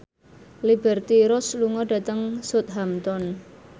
Liberty Ross lunga dhateng Southampton